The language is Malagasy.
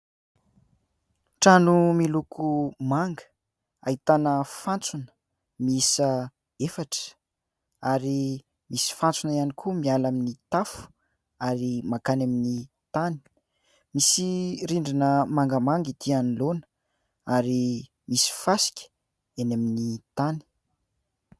Trano miloko manga ahitana fantsona mihisa efatra ary misy fantsona ihany koa miala amin'ny tafo ary mankany amin'ny tany. Misy rindrina mangamanga ity anoloana ary misy fasika eny amin'ny tany.